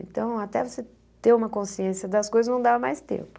Então, até você ter uma consciência das coisas, não dava mais tempo.